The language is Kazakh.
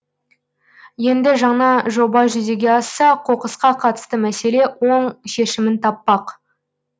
енді жаңа жоба жүзеге асса қоқысқа қатысты мәселе оң шешімін таппақ